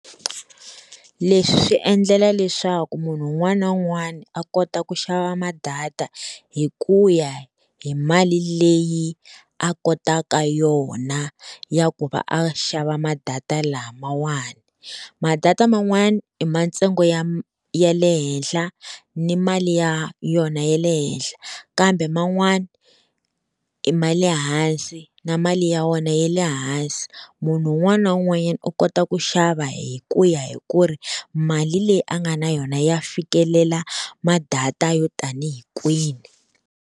Leswi swi endlela leswaku munhu un'wana na un'wana a kota ku xava ma-data hi ku ya hi mali leyi a kotaka yona ya ku va a xava ma-data lamawani. Ma-data man'wani i ma ntsengo ya ya le henhla, ni mali ya yona ya le henhla, kambe man'wani ma le hansi na mali ya wona ya le hansi munhu un'wana na un'wanyana u kota ku xava hi ku ya hi ku ri mali leyi a nga na yona ya fikelela ma-data yo tanihi kwini.